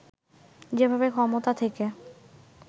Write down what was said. যেভাবে ক্ষমতা থেকে